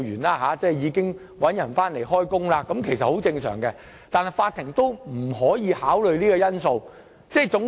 聘請新僱員回來工作，其實是很正常的做法，但法院卻不可以考慮這個因素。